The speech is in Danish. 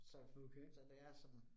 Så, så det er sådan